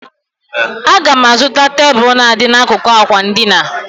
Aga m azụta tebụl na-adị n'akụkụ àkwà edina.